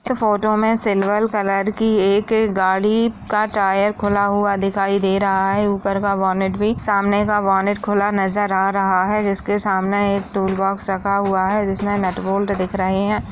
Photo में एक silver colour की एक गाड़ी का टायर खुला हुआ दिखाई दे रहा है। ऊपर का वॉनेट भी सामने का वॉनेट भी खुला नजर आ रहा है। जिसके सामने एक टूलबॉक्स रखा हुआ है। जिसमें नटबोल्ड दिख रहे हैं।